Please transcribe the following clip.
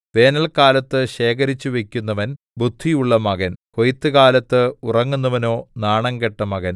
വേനല്ക്കാലത്ത് ശേഖരിച്ചുവയ്ക്കുന്നവൻ ബുദ്ധിയുള്ള മകൻ കൊയ്ത്തുകാലത്ത് ഉറങ്ങുന്നവനോ നാണംകെട്ട മകൻ